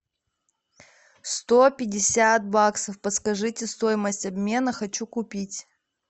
сто пятьдесят баксов подскажите стоимость обмена хочу купить